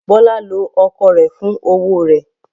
Bọ́lá lo ọkọ rẹ̀ fún owó rẹ̀.